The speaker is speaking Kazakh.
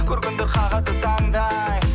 көргендер қағады таңдай